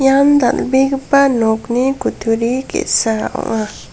ian dal·begipa nokni kutturi ge·sa ong·a.